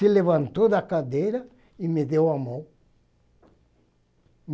Se levantou da cadeira e me deu a mão.